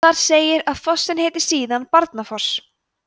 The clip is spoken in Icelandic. þar segir að fossinn heiti síðan barnafoss